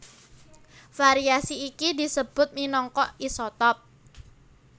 Variasi iki disebut minangka isotop